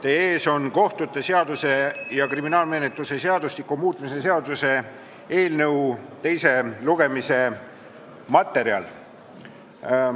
Teie ees on kohtute seaduse ja kriminaalmenetluse seadustiku muutmise seaduse eelnõu teise lugemise materjal.